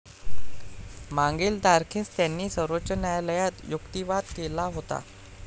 मागील तारखेस त्यांनी सर्वोच्च न्यायालयात युक्तीवाद केला होता.